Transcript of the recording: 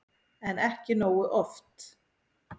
En ekki nógu oft.